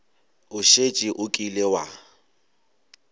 o šetše o kile wa